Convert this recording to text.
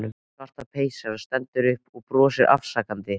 Svarta peysan stendur upp og brosir afsakandi.